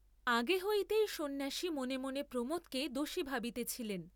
আগে হইতেই সন্ন্যাসী মনে মনে প্রমোদকে দোষী ভাবিতেছিলেন।